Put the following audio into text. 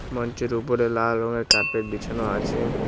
মঞ্চের ওপরে লাল রঙের কার্পেট বিছানো আছে।